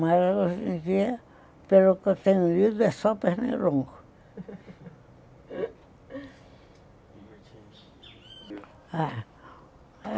Mas hoje em dia, pelo que eu tenho ouvido, é só.